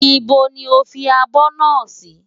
Íbo ni o fi abọ́ náà sí?